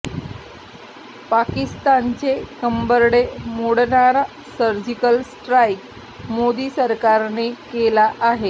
पाकिस्तानचे कंबरडे मोडणारा सर्जिकल स्ट्राईक मोदी सरकारने केला आहे